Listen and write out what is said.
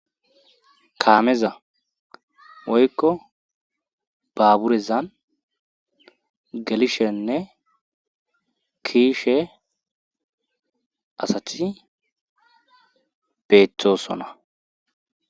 kaameza woykko baaburezan gelishenne kiishe asathi beeththosona